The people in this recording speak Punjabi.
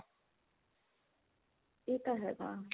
ਇਹ ਤਾਂ ਹੈਗਾ